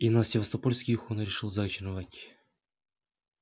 и на севастопольских он решил заночевать